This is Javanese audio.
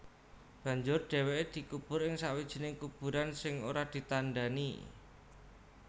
Banjur dhèwèké dikubur ing sawijining kuburan sing ora ditandhani